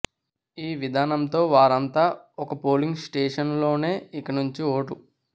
ఈ విధానంతో వారంతా ఒక పోలింగ్ స్టేషన్లోనే ఇక నుంచి ఓటు